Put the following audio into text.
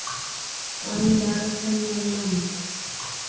Hann varð hennar lamb.